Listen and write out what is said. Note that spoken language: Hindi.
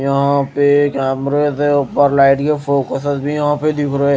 यहाँ पे कैमरे से उपर लाइट के फोकस भी यहाँ पे दिख रहे--